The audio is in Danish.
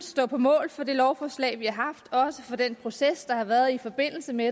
stå på mål for det lovforslag vi har og også for den proces der har været i forbindelse med